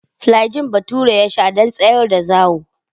Flajil Bature ya sha don tsayar da zawo.